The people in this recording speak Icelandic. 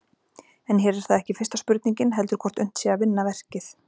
En hér er það ekki fyrsta spurningin heldur hvort unnt sé að vinna verkið.